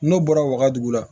N'o bɔra wagadugu la